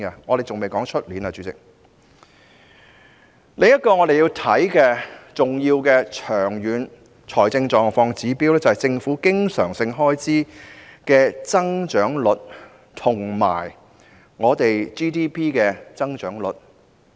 我們要考慮的另一個重要長遠財政狀況指標，是政府經常性開支的增長率及 GDP 的增長率。